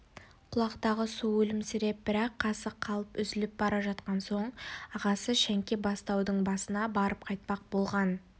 құлақтағы су өлімсіреп бір-ақ қасық қалып үзіліп бара жатқан соң ағасы шәңке-бастаудың басына барып қайтпақ болған